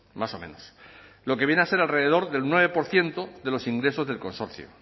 más o menos lo que viene a ser alrededor del nueve por ciento de los ingresos del consorcio